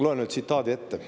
Loen ühe tsitaadi ette.